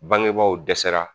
Bangebaaw dɛsɛra